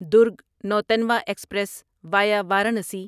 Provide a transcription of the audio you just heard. Durg Nautanwa express via Varanasi